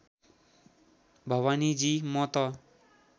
भवानीजी म त